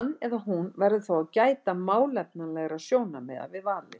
Hann eða hún verður þó að gæta málefnalegra sjónarmiða við valið.